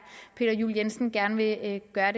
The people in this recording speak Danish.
peter juel jensen gerne vil gøre